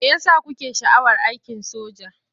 Me ya sa kuke sha'awar aikin soja?